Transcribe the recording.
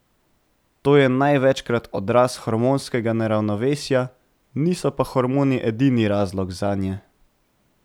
To je največkrat odraz hormonskega neravnovesja, niso pa hormoni edini razlog zanje.